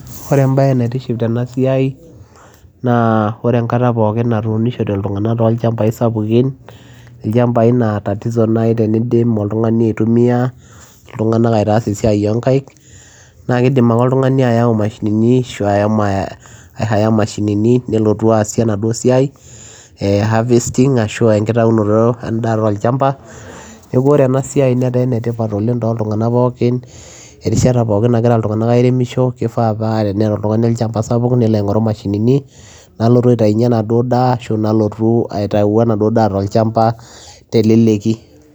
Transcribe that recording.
Ore ebayee naitiship tena siai naa ore enkataa pookin natunishote ilntunganak to ilchambai sapukin loshii naa tatizo naaji teniremii ilntunganak naa kidim ake aayau imashinini nelotuu aasiee enaduo siai ee harvesting neeku Ore enaa siai naa enetipat oreshata pookin nairemishoo ning'oruu imashinini naitayuunyiee anaa duoo daa